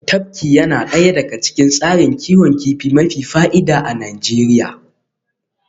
Tafki yana daya daga cikin tsarin kiwon kifi mafi fa'ida a Najeriya